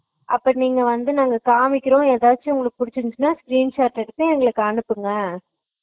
அப்ப நீங்க வந்து நாங்க காமிக்கிறோ ஏதாச்சும் புடிச்சு இருந்துச்சுனா screenshot எடுத்து எங்களுக்கு அனுப்புங்க